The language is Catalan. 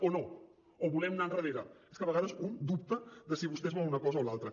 o no o volem anar endarrere és que a vegades un dubta de si vostès volen una cosa o l’altra